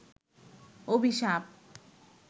অভিশাপ